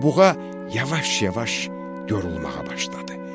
Buğa yavaş-yavaş yorulmağa başladı.